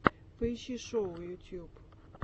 поищи шоу ютюб